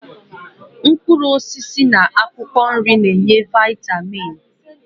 Mkpụrụosisi na akwụkwọ nri na-enye vaịtamin